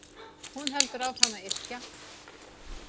Hún heldur áfram að yrkja.